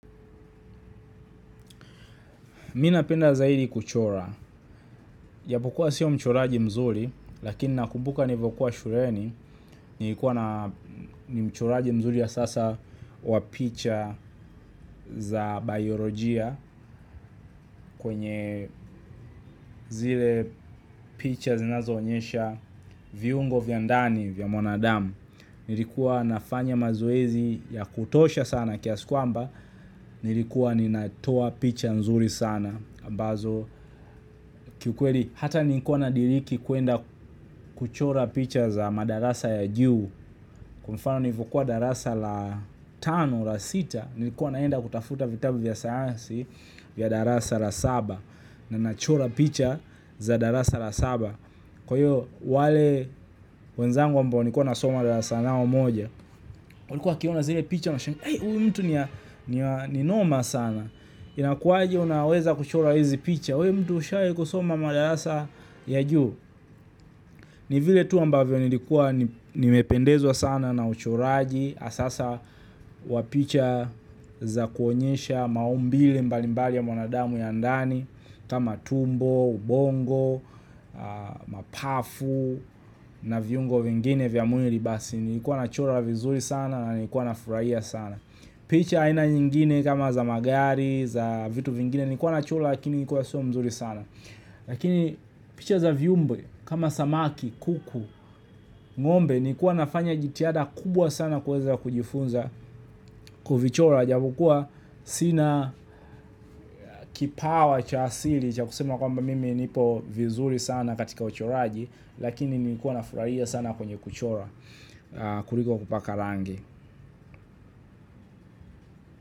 Mimi napenda zaidi kuchora, japokuwa sio mchoraji mzuri, lakini nakumbuka nilipokuwa shuleni, nilikuwa ni mchoraji mzuri ya sasa wa picha za biolojia kwenye zile picha zinazo onyesha viungo vya ndani vya mwanadamu nilikuwa nafanya mazoezi ya kutosha sana kiasi kwamba, nilikuwa ninatoa picha nzuri sana. Ambazo kiukweli, hata nilikuwa nadiriki kuenda kuchora picha za madarasa ya juu. Kwa mfano nilipokuwa darasa la tano, la sita, nilikuwa naenda kutafuta vitabu vya sayansi vya darasa la saba. Na nachora picha za darasa la saba. Kwa hiyo, wale wenzangu ambao nilikuwa nasoma darasa nao moja. Walikuwa wakiona zile picha wanasema huyu mtu ni noma sana. Inakuwaje unaweza kuchora hizi picha we mtu ushawahi kusoma madarasa ya juu ni vile tu ambavyo nilikuwa nimependezwa sana na uchoraji hasa wa picha za kuonyesha maumbile mbalimbali ya mwanadamu ya ndani kama tumbo, ubongo, mapavu na viungo vingine vya mwili basi nilikuwa nachora vizuri sana na nilikuwa na furahia sana picha aina nyingine kama za magari, za vitu vingine nilikuwa nachora lakini nilikuwa sio mzuri sana lakini picha za viumbe, kama samaki, kuku, ngombe nilikuwa nafanya jitihada kubwa sana kuweza kujifunza kuvichora. Japokuwa sina kipawa cha asili cha kusema kwamba mimi nipo vizuri sana katika uchoraji lakini nilikuwa nafurahia sana kwenye kuchora kuliko kupaka rangi.